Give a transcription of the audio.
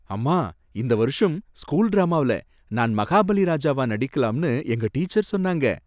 அம்மா, இந்த வருஷம் ஸ்கூல் டிராமாவில நான் மகாபலி ராஜாவா நடிக்கலாம்னு எங்க டீச்சர் சொன்னாங்க.